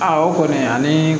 Aa o kɔni ani